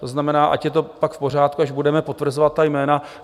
To znamená, ať je to pak v pořádku, až budeme potvrzovat ta jména.